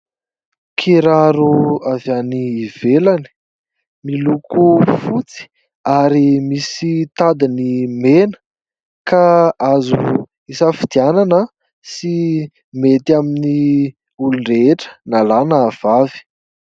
Kiraro avy any ivelany, miloko fotsy ary misy tadiny mena, ka azo isafidianana sy mety amin'ny olon-drehetra na lahy, na vavy.